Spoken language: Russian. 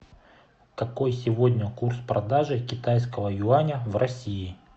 какой сегодня курс продажи китайского юаня в россии